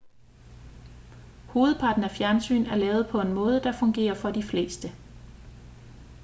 hovedparten af fjernsyn er lavet på en måde der fungerer for de fleste